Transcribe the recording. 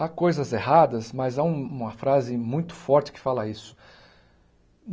Há coisas erradas, mas há um uma frase muito forte que fala isso.